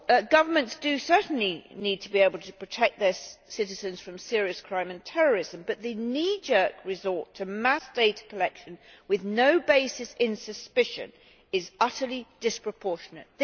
Governments certainly need to be able to protect their citizens from serious crime and terrorism, but the knee jerk resort to mass data collection with no basis in suspicion is utterly disproportionate.